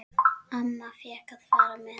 Amma fékk að fara með.